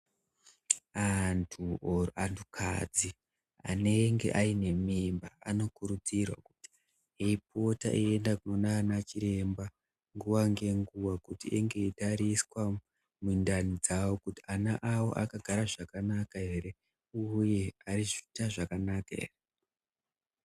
Antu, antukadzi anenge ainemimba ankurudzirwa kuti apote eiende kunachiremba nguwa nenguwa kuti ange eitariswa mundani dzawo kuti ana awo akagara zvakanaka ere uye arikuita zvakanaka here.